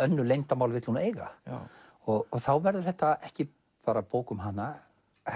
önnur leyndarmál vill hún eiga og þá verður þetta ekki bara bók um hana